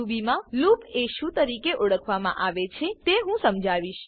Ruby મા loop એ શું તરીકે ઓળખવામાં આવે છે તે હું સમજાવીશ